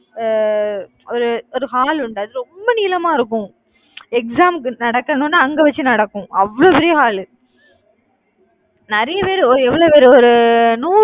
அஹ் ஒரு ஒரு hall உண்டு. அது ரொம்ப நீளமா இருக்கும் exam ஏதும் நடக்கணும்னு அங்க வச்சு நடக்கும், அவ்வளவு பெரிய hall நிறைய பேரு எவ்வளவு பேரு ஒரு நூ~